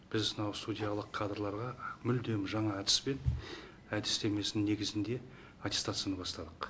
біз мынау судьялық кадрларға мүлдем жаңа әдіспен әдістемесінің негізінде аттестацияны бастадық